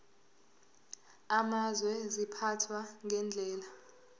amazwe ziphathwa ngendlela